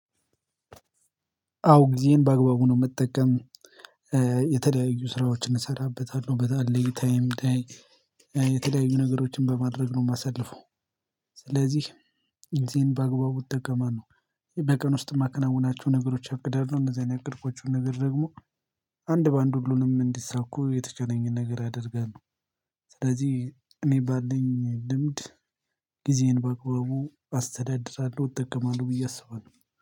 አዎ ጊዜየን በአግባቡ ነው ምጠቀም። የተለያዩ ስራዎችን እሰራበታለሁ በጣም ሌይ ታይም ታይም የተለያዩ ነገሮችን በማድረግ ነው የማሳልፈው። ስለዚህ ጊዜየን በአግባቡ እጠቀማለሁ በቀን ውስጥ ማከናውናቸው ነገሮች አቅዳለሁ እነዚህን ያቀድኳቸውን ነገር ደግሞ አንድ በአንድ ሁሉንም እንዲሳኩ የተቻለኝን ነገር አደርጋለሁ። ስለዚህ እኔ ባለኝ ልምድ ጊዜየን በአግባቡ አስተዳድራለሁ እጠቀማለሁ ብዬ አስባለሁ